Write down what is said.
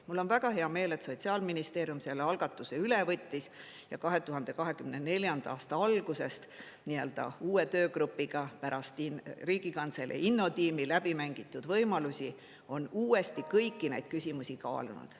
Mul on väga hea meel, et Sotsiaalministeerium selle algatuse üle võttis ja 2024. aasta algusest nii-öelda uue töögrupiga pärast Riigikantselei Innotiimi läbi mängitud võimalusi on uuesti kõiki neid küsimusi kaalunud.